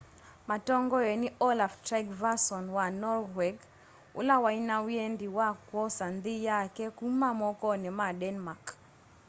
matongoiwe ni olaf trygvasson wa norweg ula waina wendi wa kwosa nthi yake kuma mokoni ma denmark